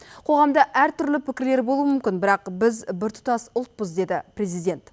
қоғамда әртүрлі пікір болуы мүмкін бірақ біз біртұтас ұлтпыз деді президент